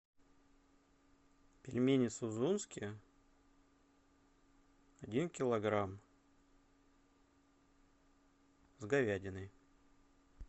пельмени сузунские один килограмм с говядиной